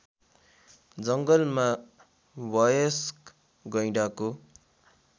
जङ्गलमा वयस्क गैंडाको